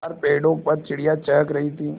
बाहर पेड़ों पर चिड़ियाँ चहक रही थीं